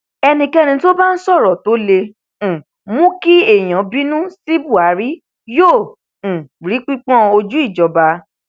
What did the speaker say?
ẹnikẹni tó bá ń sọrọ tó lè um mú kí àwọn èèyàn bínú sí buhari yóò um rí pípọn ojú ìjọba